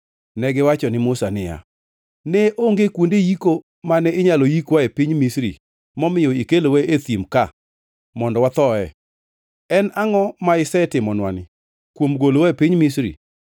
Negiwacho ni Musa niya, “Ne onge kuonde yiko mane inyalo yikwae e piny Misri momiyo ikelowa e thim ka mondo wathoe? En angʼo ma isetimonwani kuom golowa e piny Misri?